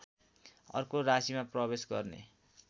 अर्को राशीमा प्रवेश गर्ने